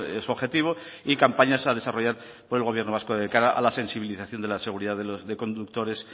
es objetivo y campañas a desarrollar por el gobierno vasco de cara a la sensibilización de la seguridad de conductores